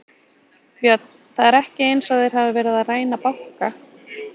Björn: Það er ekki eins og þeir hafi verið að ræna banka?